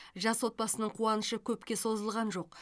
жас отбасының қуанышы көпке созылған жоқ